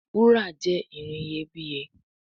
Wúrà jé ìrìn iyebiye.